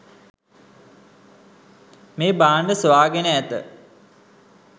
මේ භාණ්ඩ සොයාගෙන ඇත